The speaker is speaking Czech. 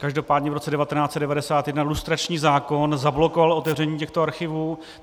Každopádně v roce 1991 lustrační zákon zablokoval otevření těchto archivů.